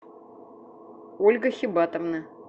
ольга хибатовна